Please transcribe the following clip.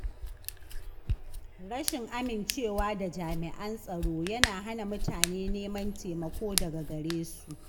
Rashin amincewa da jami’an tsaro yana hana mutane neman taimako daga gare su.